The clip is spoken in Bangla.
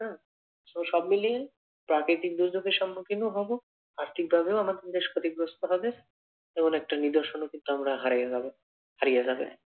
তো সবমিলিয়ে প্রাকৃতিক দুর্যোগের সম্মুখীনও হব, আর্থিক ভাবেও আমাদের দেশ ক্ষতিগ্রস্থ হবে এমন একটা নিদর্শনও কিন্তু আমরা হারিয়ে যাব হারিয়ে যাবে।